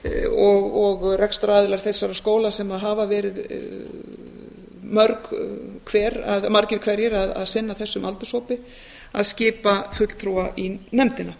og rekstraraðilar þessara skóla sem hafa verið margir hverjir að sinna þessum aldurshópi að skipa fulltrúa í nefndina